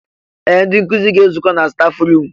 Ee! Ndị nkụzi ga-ezukọ na staf ruum.